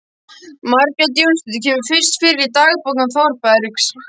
Margrét Jónsdóttir kemur fyrst fyrir í dagbókum Þórbergs